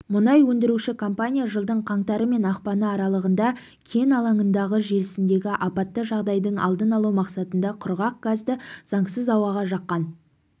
мұнай өндіруші компания жылдың қаңтары мен ақпаны аралығында кен алаңындағы желісіндегі апатты жағдайдың алдын алу мақсатында құрғақ газды заңсыз ауаға жаққан